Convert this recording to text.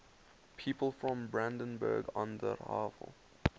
people from brandenburg an der havel